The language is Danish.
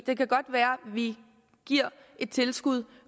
det kan godt være at vi giver et tilskud